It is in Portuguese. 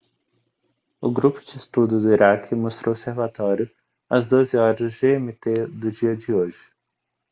o grupo de estudo do iraque mostrou seu relatório às 12:00 gmt do dia de hoje